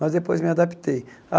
Mas depois me adaptei.